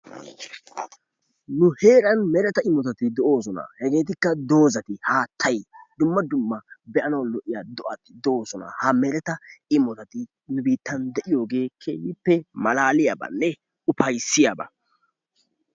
Nu heeran mereta imotati de"oosona hegeetikka doozati haattayi dumma dumma be"anawu lo"iya do"ati de"oosona. Ha mereta imotati nu biittan de"iyogee keehippe malaaliyabanne ufayissiyaba.